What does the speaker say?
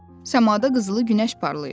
Səmada qızılı günəş parlayır.